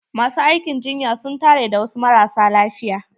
Masu aikin jinya su n tare da wasu marasa lafiya.